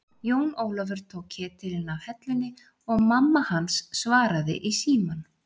Jón Ólafur tók ketilinn af hellunni og mammahans svaraði í símann.